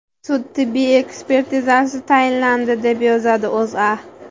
Sud tibbiy-ekspertizasi tayinlandi, deb yozadi O‘zA.